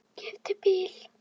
Keypti bíl og annan.